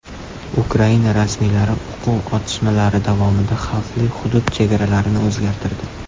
Ukraina rasmiylari o‘quv otishmalari davomidagi xavfli hudud chegaralarini o‘zgartirdi.